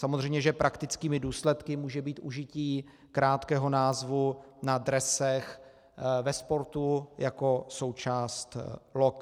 Samozřejmě že praktickými důsledky může být užití krátkého názvu na dresech ve sportu jako součást log.